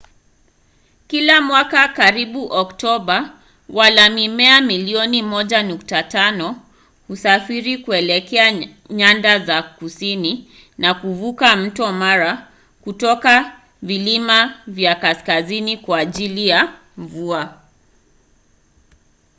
kila mwaka karibu oktoba wala-mimea milioni 1.5 husafiri kuelekea nyanda za kusini na kuvuka mto mara kutoka vilima vya kaskazini kwa ajili ya mvua